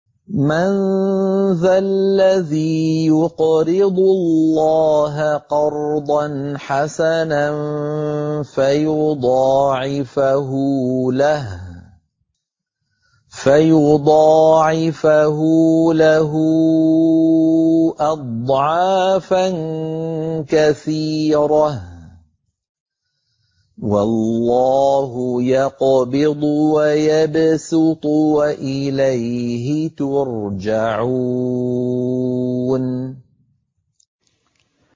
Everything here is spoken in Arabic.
مَّن ذَا الَّذِي يُقْرِضُ اللَّهَ قَرْضًا حَسَنًا فَيُضَاعِفَهُ لَهُ أَضْعَافًا كَثِيرَةً ۚ وَاللَّهُ يَقْبِضُ وَيَبْسُطُ وَإِلَيْهِ تُرْجَعُونَ